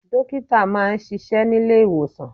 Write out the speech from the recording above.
Dókítà máa ń ṣíṣe nílé ìwòsàn.